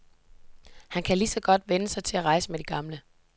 Han kan ligeså godt vænne sig til at rejse med de gamle.